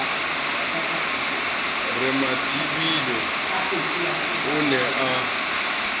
re mathibe o ne a